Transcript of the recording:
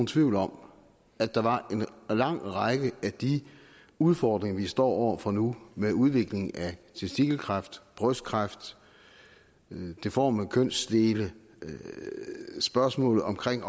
tvivl om at der var en lang række af de udfordringer vi står over for nu med udvikling af testikelkræft brystkræft deforme kønsdele og spørgsmål omkring